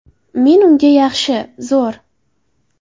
Men unga ‘Yaxshi, zo‘r.